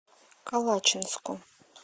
калачинску